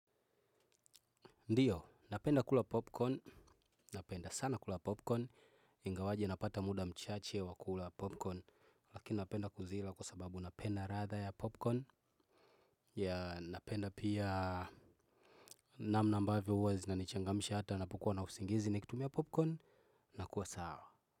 Ndio, napenda kula popcorn, napenda sana kula popcorn, ingawaje napata muda mchache wa kula popcorn. Lakini napenda kuzila kwa sababu napenda radha ya popcorn napenda pia namna mbavyo uwa zinanichangamsha hata napokuwa na usingizi nikitumia popcorn. Na kuwa sawa.